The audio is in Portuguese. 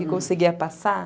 Que conseguia passar.